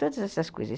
Todas essas coisas.